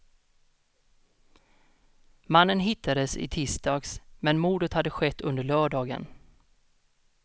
Mannen hittades i tisdags, men mordet hade skett under lördagen.